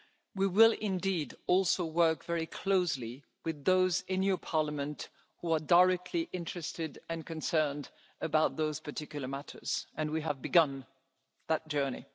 mind. We will indeed also work very closely with those in your Parliament who are directly interested and concerned about those particular matters and we have begun that